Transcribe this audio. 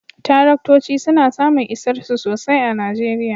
Taraktoci suna samun isarsu sosai a Najeriya